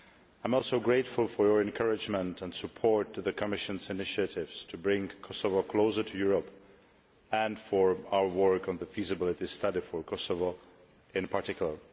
I am also grateful for your encouragement and support for the Commission's initiatives to bring Kosovo closer to Europe and for our work on the feasibility study for Kosovo in particular.